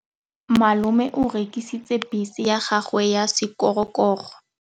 Malome o rekisitse bese ya gagwe ya sekgorokgoro.